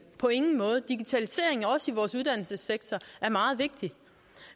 på ingen måde digitaliseringen også i vores uddannelsessektor er meget vigtig